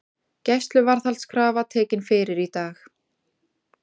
Gæsluvarðhaldskrafa tekin fyrir í dag